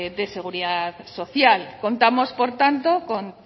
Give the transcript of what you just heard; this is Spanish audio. de seguridad social contamos por tanto con